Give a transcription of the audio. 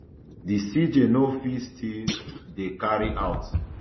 di cj no fit to still dey carry out